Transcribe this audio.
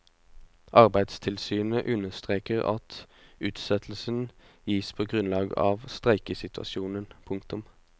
Arbeidstilsynet understreker at utsettelsen gis på grunn av streikesituasjonen. punktum